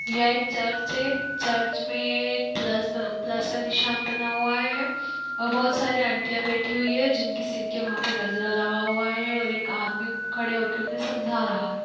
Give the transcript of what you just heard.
यह एक चर्च है चर्च में-ए प्लस प्लस का निशान बना हुआ है और बहुत सारी आंटिया बैठी हुई हैं जिनके सिर के वहा पे गजरा लगा हुआ है और एक आदमी खड़े होके उन्हे समझा रहा है।